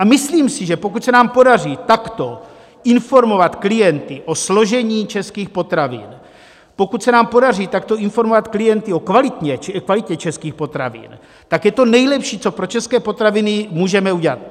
A myslím si, že pokud se nám podaří takto informovat klienty o složení českých potravin, pokud se nám podaří takto informovat klienty o kvalitě českých potravin, tak je to nejlepší, co pro české potraviny můžeme udělat.